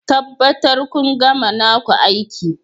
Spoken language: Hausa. Tabbatar kun gama naku aiki